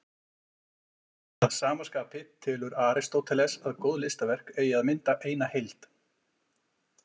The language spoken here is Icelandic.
Að sama skapi telur Aristóteles að góð listaverk eigi að mynda eina heild.